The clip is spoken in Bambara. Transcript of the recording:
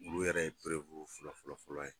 Olu yɛrɛ ye fɔlɔ fɔlɔ ye.